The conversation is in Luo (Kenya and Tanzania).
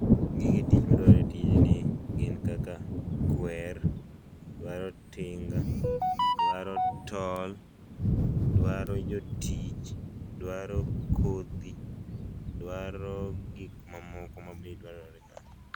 Gige tich madwarore a tij ni gin kaka Kwer, dwaro tinga, dwaro tol, dwaro jotich, dwaro kodhi, dwaro gik ma moko ma be dwarore ka.